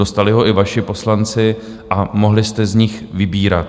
Dostali ho i vaši poslanci a mohli jste z něj vybírat.